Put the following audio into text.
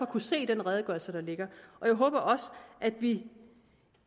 kunne se i den redegørelse der ligger og jeg håber også at vi